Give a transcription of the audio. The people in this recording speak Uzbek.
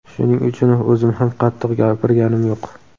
Shuning uchun o‘zim ham qattiq gapirganim yo‘q.